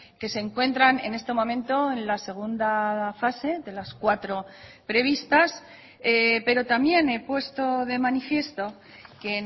que se encuentran en este momento en la segunda fase de las cuatro previstas pero también he puesto de manifiesto que